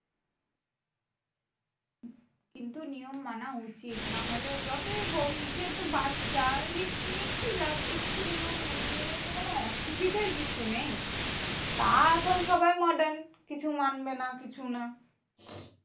কিন্তু নিয়ম মানা উচিত। নাহলে যতই হোক যেহেতু বাচ্চা risk নিয়ে কি লাভ? একটু নিয়ম মেনে নিলে তোমার না অসুবিধের কিছু নেই। তা এখন সবাই modern কিছু মানবে না কিছু না